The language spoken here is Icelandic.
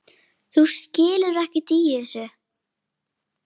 Þú skilur ekkert í þessu.